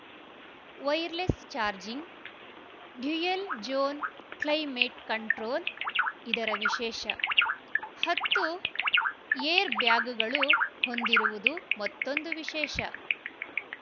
wireless charging dual zone climate control ಇದರ ವಿಶೇಷ ಹತ್ತು ಏರ್‌ ಬ್ಯಾಗ್‌ಗಳು ಹೊಂದಿರುವುದು ಮತ್ತೊಂದು ವಿಶೇಷ